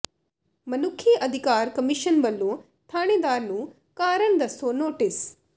ਮਨੁੱਖੀ ਅਧਿਕਾਰ ਕਮਿਸ਼ਨ ਵੱਲੋਂ ਥਾਣੇਦਾਰ ਨੂੰ ਕਾਰਨ ਦੱਸੋ ਨੋਟਿਸ